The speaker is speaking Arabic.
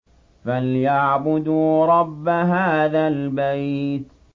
فَلْيَعْبُدُوا رَبَّ هَٰذَا الْبَيْتِ